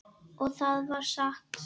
Og það var satt.